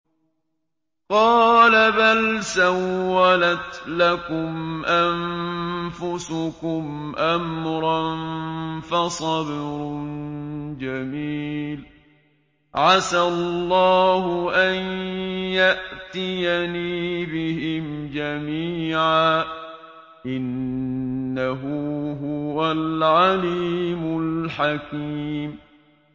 قَالَ بَلْ سَوَّلَتْ لَكُمْ أَنفُسُكُمْ أَمْرًا ۖ فَصَبْرٌ جَمِيلٌ ۖ عَسَى اللَّهُ أَن يَأْتِيَنِي بِهِمْ جَمِيعًا ۚ إِنَّهُ هُوَ الْعَلِيمُ الْحَكِيمُ